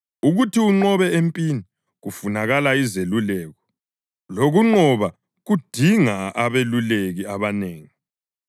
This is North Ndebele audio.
ukuthi unqobe empini kufunakala izeluleko, lokunqoba kudinga abeluleki abanengi.